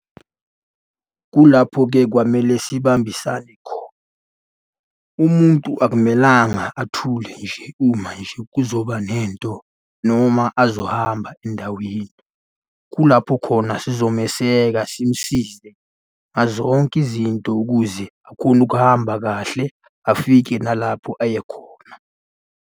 Kulapho-ke kwamele sibambisane khona. Umuntu akumelanga athule nje uma nje kuzoba nento noma azohamba endaweni. Kulapho khona sizomeseka, simusize ngazonke izinto ukuze akhone ukuhamba kahle afike nalapho aye khona.